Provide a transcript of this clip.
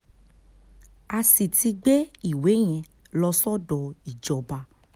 a sì ti gbé ìwé yẹn lọ sọ́dọ̀ ìjọba